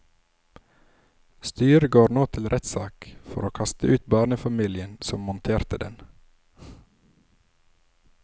Styret går nå til rettssak for å kaste ut barnefamilien som monterte den.